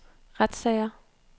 retssager